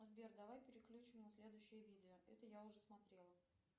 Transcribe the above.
сбер давай переключим на следующее видео это я уже смотрела